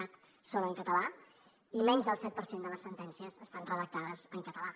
cat són en català i menys del set per cent de les sentències estan redactades en català